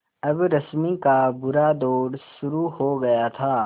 अब रश्मि का बुरा दौर शुरू हो गया था